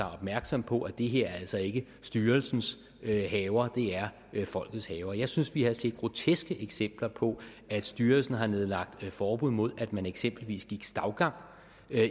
opmærksom på at det her altså ikke er styrelsens haver det er folkets haver jeg synes vi har set groteske eksempler på at styrelsen har nedlagt forbud mod at man eksempelvis går stavgang